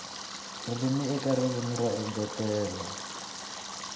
ririmi eka ririmi ro engetela